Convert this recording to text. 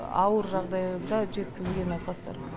ауыр жағдайда жеткізілген науқастар